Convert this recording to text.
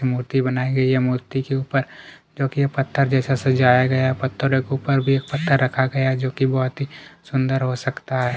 मूर्ति बनाई गई है मूर्ति के ऊपर जो कि पत्थर जैसा सजाया गया है पत्थर के ऊपर भी एक पत्थर रखा गया है जो की बहोत ही सुंदर हो सकता है।